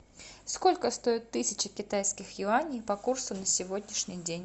сколько стоит тысяча китайских юаней по курсу на сегодняшний день